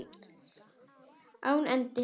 Án endis.